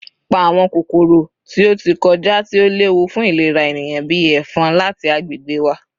Pa awọn kokoro ti o ti kọja ti o lewu fun ilera eniyan, bii “efon,” lati agbegbe wa!